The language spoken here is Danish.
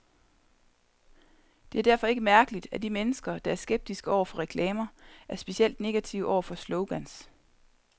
Det er derfor ikke mærkeligt, at de mennesker, der er skeptiske over for reklamer, er specielt negative over for slogans.